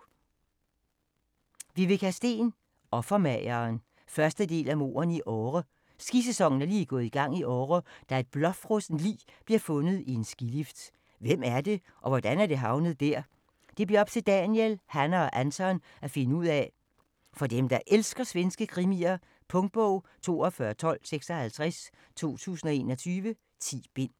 Sten, Viveca: Offermageren 1. del af Mordene i Åre. Skisæsonen er lige gået i gang i Åre, da et blåfrossent lig bliver fundet i en skilift. Hvem er det, og hvordan er det havnet der? Det bliver op til Daniel, Hanna og Anton at finde ud af. For dem, der elsker svenske krimier. Punktbog 421256 2021. 10 bind.